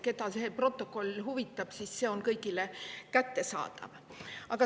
Keda see protokoll huvitab, siis see on kõigile kättesaadav.